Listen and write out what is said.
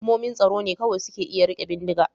Hukumomin tsaro ne kawai za su iya rike bindiga.